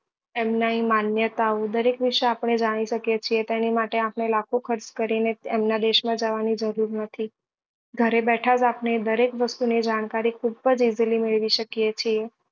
એમને માન્યતા ઓ દરેક વિશે આપણે જાની શકીએ છીએ તેની માટે આપણે લાખો ખર્ચ કરી ને એમના દેશ માં જવા ની જરૂર નથી ઘરે બેઠા જ આપણે દરેક વસ્તુ ની જાણકારી ખુબ જ easily મેળવી શકીએ છીએ